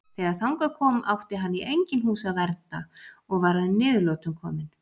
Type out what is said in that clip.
Þegar þangað kom átti hann í engin hús að vernda og var að niðurlotum kominn.